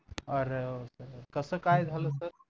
अरे कस काय झालं सर